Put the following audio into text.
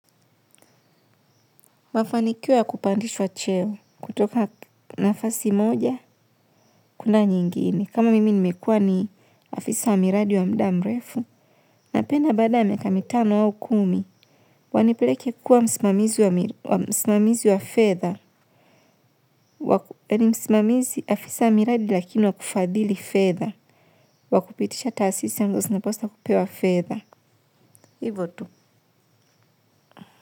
Mafanikio ya kupandishwa cheo. Kutoka nafasi moja, kwenda nyingine kama mimi nimekua ni afisa wa miradi wa muda mrefu. Napenda baada ya miaka mitano au kumi, wanipeleke kuwa msimamizi wa fedha. Ni msimamizi afisa wa miradi lakini wa kufadhili fedha. Wa kupitisha taasisi ambazo zinapaswa kupewa fedha. Hivo tu.